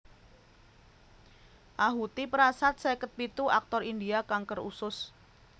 Ahuti Prasad seket pitu aktor India kanker usus